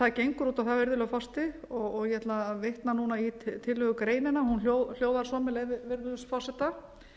það gengur út á það virðulegi forseti og ég ætla að vitna í tillögugreinina hún hljóðar svo með leyfi virðulegs forseta